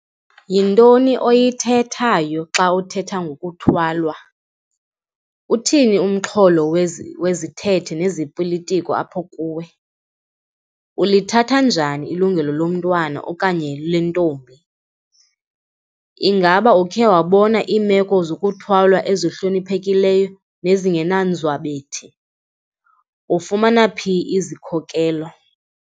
Yintoni oyithethayo xa uthetha ngothwalwa? Uthini umxholo wezithethe nezopolitoko apho kuwe? Ulithatha njani ilungelo lomntwana okanye lentombi? Ingaba ukhe wabona iimeko zokuthwalwa ezihloniphekileyo nezingenanzwabethi? Ufumana phi izikhokelo?